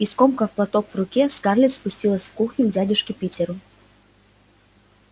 и скомкав платок в руке скарлетт спустилась в кухню к дядюшке питеру